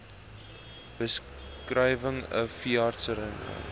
beskrywing n veeartseny